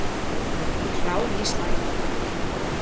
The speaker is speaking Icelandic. Klár í slaginn.